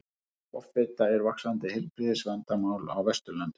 Offita er vaxandi heilbrigðisvandamál á Vesturlöndum.